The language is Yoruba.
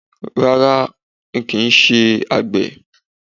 Rárá, ń ó kin ṣé àgbẹ̀